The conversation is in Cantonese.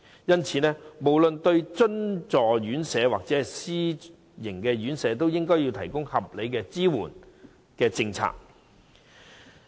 因此，不論對津助院舍或私營院舍，當局均應該同樣提供合理的支援政策。